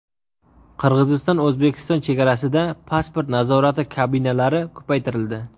Qirg‘iziston-O‘zbekiston chegarasida pasport nazorati kabinalari ko‘paytirildi.